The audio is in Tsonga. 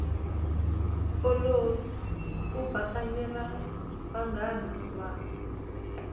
olovi ku bakanyela vanghana va